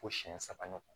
Fo siyɛn saba ɲɔgɔn